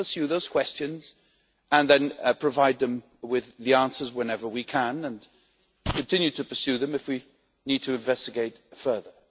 We will pursue those questions and then provide them with the answers whenever we can and continue to pursue them if we need to investigate further.